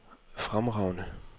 fremragende